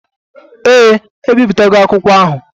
Ee, ebipụtago akwụkwọ ahụ.